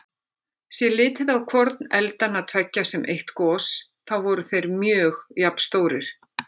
Sé litið á hvorn eldanna tveggja sem eitt gos, þá voru þeir mjög jafnstórir.